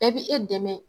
Bɛɛ bi e dɛmɛ